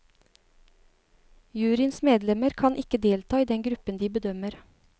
Juryens medlemmer kan ikke delta i den gruppen de bedømmer.